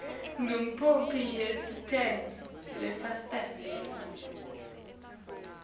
ikhophi yeresithi lesayiniwe